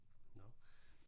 Nåh